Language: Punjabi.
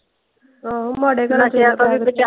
ਆਹੋ ਮਾੜੇ ਘਰਾਂ ਨਸ਼ਿਆ ਤੋਂ ਵੀ ਬਚਾ.